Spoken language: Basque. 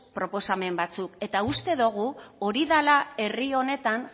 proposamen batzuk eta uste dogu hori dala herri honetan